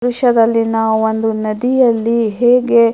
ಈ ದೃಶ್ಯದಲ್ಲಿ ನಾವು ಒಂದು ನದಿಯಲ್ಲಿ ಹೇಗೆ --